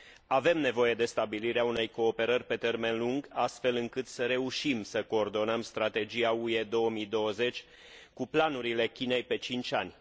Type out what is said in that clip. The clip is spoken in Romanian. Avem nevoie de stabilirea unei cooperări pe termen lung, astfel încât să reușim să coordonăm strategia UE 2020 cu planurile Chinei pe cinci ani.